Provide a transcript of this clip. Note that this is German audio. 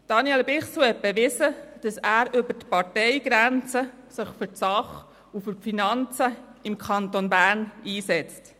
Er hat bewiesen, dass er sich über die Parteigrenzen für die Sache und für die Finanzen des Kantons Bern einsetzt.